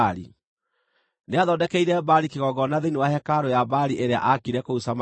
Nĩathondekeire Baali kĩgongona thĩinĩ wa hekarũ ya Baali ĩrĩa aakire kũu Samaria.